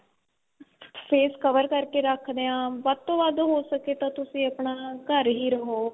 face cover ਕਰਕੇ ਰੱਖਦੇ ਆਂ ਵੱਧ ਤੋ ਵੱਧ ਹੋ ਸਕੇ ਤਾਂ ਤੁਸੀਂ ਆਪਣਾ ਘਰ ਹੀ ਰਹੋ